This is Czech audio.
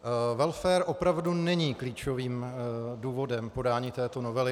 Welfare opravdu není klíčovým důvodem podání této novely.